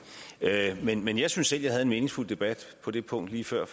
men men jeg synes at jeg havde en meningsfuld debat på det punkt lige før